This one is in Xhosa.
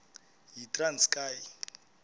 yitranskayi